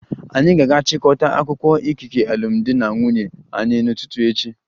Anyị ga-aga chịkọta akwụkwọ ikike alụmdi na nwunye anyị n'ụtụtụ echi